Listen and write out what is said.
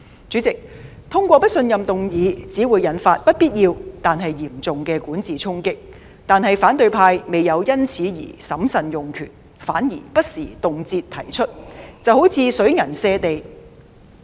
主席，通過不信任議案只會引發不必要但嚴重的管治衝擊，但反對派未有因此而審慎用權，反而不時動輒提出，一如水銀瀉地。